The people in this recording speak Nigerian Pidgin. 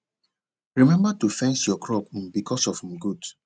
remember to fence your crop um because of um goat